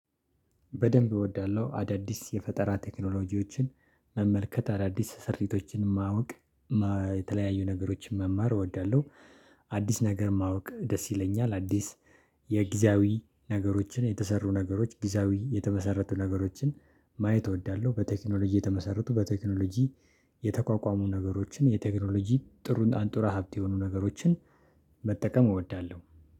በደንብ እወዳለሁ አዳዲስ የፈጠራ ቴክኖሎጂዎችን መመልከት አዳዲስ ሰርቲቶችን ማወቅ የተለያዩ ነገሮችን መማር እወዳለሁ። አዲስ ነገር ማወቅ ደስ ይለኛል። አዲስ የጊዜያዊ ነገሮችን የተሰሩ ነገሮች ጊዜያዊ የተመሰረቱ ነገሮችን ማየት እወዳለሁ። በቴክኖሎጂ የተመሰረቱ በቴክኖሎጂ የተቋቋሙ ነገሮችን የቴክኖሎጂ ጥሩ አንጡራ ሀብት የሆኑ ነገሮችን። እወዳለሁ